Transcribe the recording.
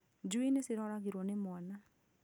Njui nĩ ciroragirwo nĩ mwana